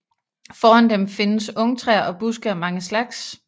Foran dem findes ungtræer og buske af mange slags